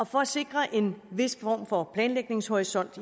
for at sikre en vis form for planlægningshorisont